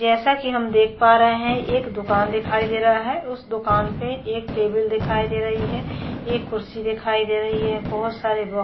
जैसा की हम देख पा रहे है एक दूकान दिखाई दे रहा है उस दूकान पे एक टेबल दिखाई दे रही है एक खुर्सी दिखाई दे रही है बहुत सारे बॉ --